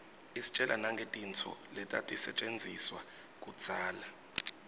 istjela nangetintfo letatisetjentiswa kudzala